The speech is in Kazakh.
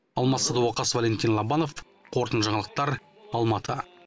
алмас садуақас валентин лобанов қорытынды жаңалықтар алматы